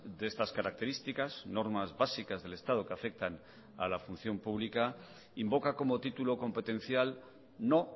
de estas características normas básicas del estado que afectan a la función pública invoca como título competencial no